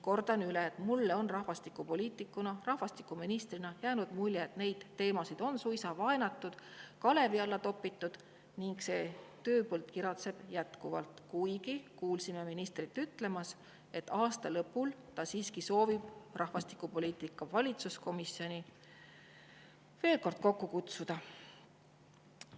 Kordan üle: mulle on rahvastikupoliitikuna, rahvastikuministrina jäänud mulje, et neid teemasid on suisa vaenatud, kalevi alla topitud, ning see tööpõld kiratseb jätkuvalt, kuigi kuulsime ministrit ütlemas, et aasta lõpul ta siiski soovib rahvastikupoliitika valitsuskomisjoni veel kord kokku kutsuda.